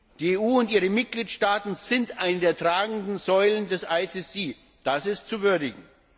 Die EU und ihre Mitgliedstaaten sind eine der tragenden Säulen des IStGH, das ist zu würdigen!